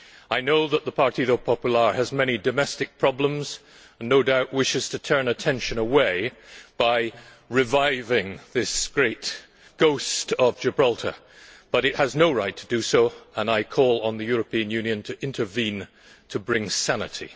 I know that the Partido Popular has many domestic problems and no doubt wishes to turn attention away by reviving this great ghost of Gibraltar, but it has no right to do so and I call on the European Union to intervene to bring sanity.